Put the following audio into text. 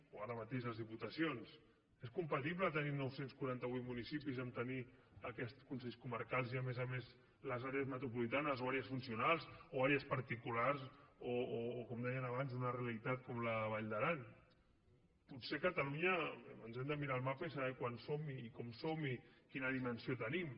o ara mateix les diputacions és compatible tenir nou cents i quaranta vuit municipis amb tenir aquests consells comarcals i a més a més les àrees metropolitanes o àrees funcionals o àrees particulars o com deien abans una realitat com la de la vall d’aran potser catalunya ens hem de mirar el mapa i saber quants som i com som i quina dimensió tenim